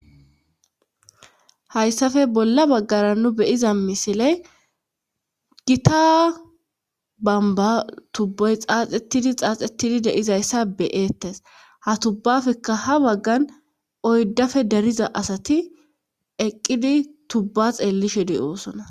Hayssafe bolla baggara nu beyiza misiley gita bamba tubboy xaaxettidi xaaxetidi deizayssa beyeettes ha tubbafekka ha baggan oydafe dariza asati eqqidi tubba xeellishe di oosona.